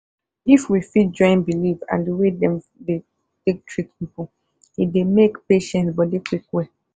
if we fit join belief and the way them dey take treat person it dey make patient body quick well.